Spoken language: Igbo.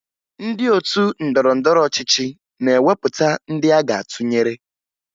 Ndị otu ndọrọndọrọ ọchịchị na-ewepụta ndị aga atụnyere